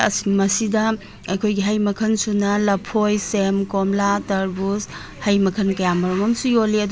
ꯃꯁꯤꯗ ꯑꯩꯈꯣꯏꯒꯤ ꯍꯩꯕ ꯃꯈꯟ ꯁꯨꯅ ꯂꯐꯣꯏ ꯁꯦꯝ ꯀꯣꯝꯂꯥ ꯇ꯭ꯔꯕꯨꯁ ꯍꯩ ꯃꯈꯟ ꯀꯌꯥꯃꯔꯨꯝ ꯑꯝꯁꯨ ꯌꯣꯜꯂꯤ ꯑꯗꯨ --